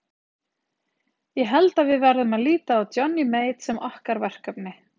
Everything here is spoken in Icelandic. Ég held að við verðum að líta á Johnny Mate sem okkar verkefni.